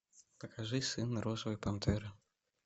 покажи сына розовой пантеры